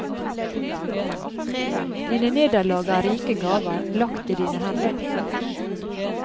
Dine nederlag er rike gaver, lagt i dine hender.